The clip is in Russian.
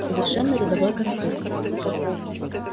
совершенно рядовой конфликт